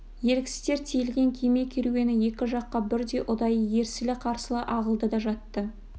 еріксіздер тиелген кеме керуені екі жаққа бірдей ұдайы ерсілі-қарсылы ағылды да жатты